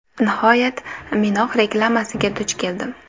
Nihoyat, Minox reklamasiga duch keldim.